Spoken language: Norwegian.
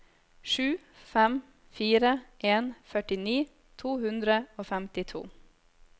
sju fem fire en førtini to hundre og femtito